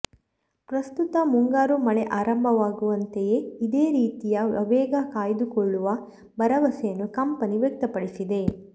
ಪ್ರಸ್ತುತ ಮುಂಗಾರು ಮಳೆ ಆರಂಭವಾಗಿರುವಂತೆಯೇ ಇದೇ ರೀತಿಯ ಆವೇಗ ಕಾಯ್ದುಕೊಳ್ಳುವ ಭರವಸೆಯನ್ನು ಕಂಪನಿ ವ್ಯಕ್ತಪಡಿಸಿದೆ